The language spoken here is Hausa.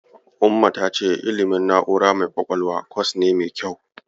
Umma ta ce ilimin na'ura mai ƙwaƙwalwa kwas ne mai kyau.